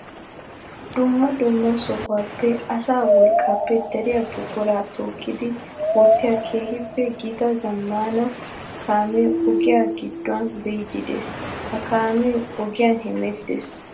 Dumma dumma sohuwappe asaa wolqqappe dariya buqura tookkiddi wottiya keehippe gita zamaana kaame ogiyan giduwan biide de'ees. Ha kaame ogiyan hemeetes.